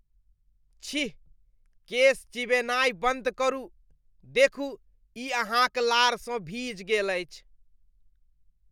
छी! केश चिबेनाइ बन्द करू। देखू, ई अहाँक लारसँ भीज गेल अछि।